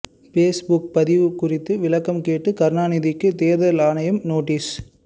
Facebook பதிவு குறித்து விளக்கம் கேட்டு கருணாநிதிக்கு தேர்தல் ஆணையம் நோட்டீஸ்